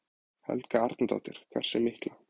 Helga Arnardóttir: Hversu mikla?